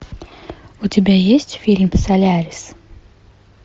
у тебя есть фильм солярис